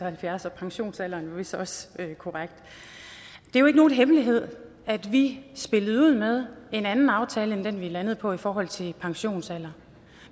og halvfjerds og pensionsalderen er vist også korrekt det er jo ikke nogen hemmelighed at vi spillede ud med en anden aftale end den vi er landet på i forhold til pensionsalderen